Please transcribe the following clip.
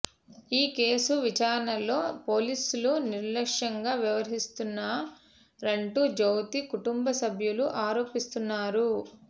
ఈ కేసు విచారణలో పోలీసులు నిర్లక్ష్యంగా వ్యవహరిస్తున్నారంటూ జ్యోతి కుటుంబ సభ్యులు ఆరోపిస్తున్నారు